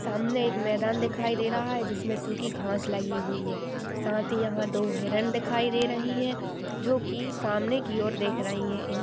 सामने एक मैदान दिखाई दे रहा है जिसमे सूखी घास लगी हुई है साथ ही यहाँ दो हिरण दिखाई दे रही है जो की सामने की और देख रही है ।